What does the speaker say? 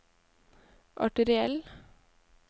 arteriell